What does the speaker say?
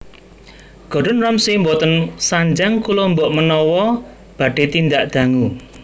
Gordon Ramsay mboten sanjang kula mbok menawa badhe tindak dangu